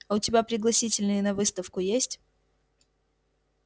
а у тебя пригласительные на выставку есть